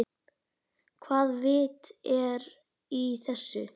Hvaða vit er í þessu?